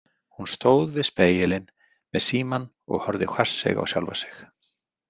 Hún stóð við spegilinn með símann og horfði hvasseyg á sjálfa sig.